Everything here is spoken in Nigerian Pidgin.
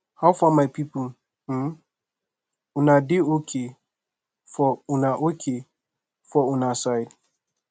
how far my people um una dey ok for una ok for una side